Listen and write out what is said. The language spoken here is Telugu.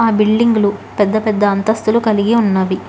ఆ బిల్డింగ్ లు పెద్ద పెద్ద అంతస్తులు కలిగి ఉన్నవి.